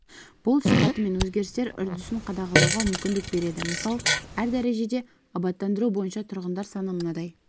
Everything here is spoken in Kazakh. бұл сипаты мен өзгерістер үрдісін қадағалауға мүмкіндік береді мысал әр дәрежеде абаттандыру бойынша тұрғындар саны мынадай